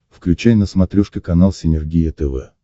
включай на смотрешке канал синергия тв